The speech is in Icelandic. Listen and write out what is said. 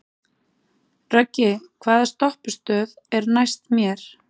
Röggi, hvaða stoppistöð er næst mér?